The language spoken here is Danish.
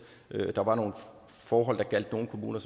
der var nogle forhold der gjaldt nogle kommuner